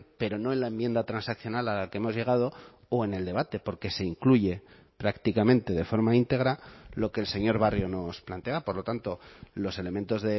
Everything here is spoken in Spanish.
pero no en la enmienda transaccional a la que hemos llegado o en el debate porque se incluye prácticamente de forma íntegra lo que el señor barrio nos planteaba por lo tanto los elementos